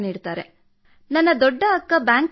actually I am having two elder sister sir